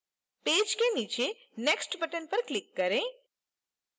page के नीचे next button पर click करें